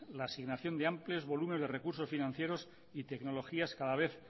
la asignación de amplios volúmenes de recursos financieros y tecnologías cada vez